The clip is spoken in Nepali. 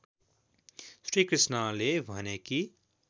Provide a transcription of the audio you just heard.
श्रीकृष्णले भने कि